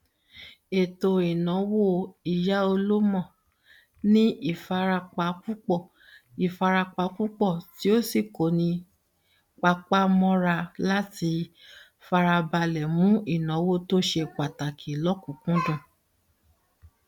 ètòìnáwó ìyáọlómo ní ìfarapa púpọ ìfarapa púpọ o sì ko ní papá mọra láti farabalẹ mú ìnáwó to se pàtàkì lọkùnkúndùn